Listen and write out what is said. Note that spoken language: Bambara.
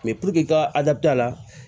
i ka a la